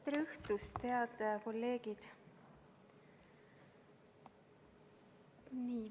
Tere õhtust, head kolleegid!